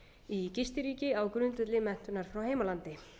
í gistiríki á grundvelli menntunar frá heimalandi